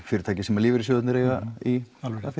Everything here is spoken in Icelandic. fyrirtæki sem lífeyrissjóðirnir eiga í